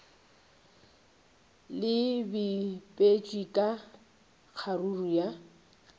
le bipetšwe ka kgaruru ya